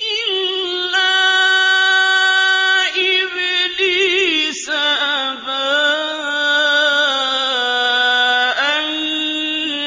إِلَّا إِبْلِيسَ أَبَىٰ أَن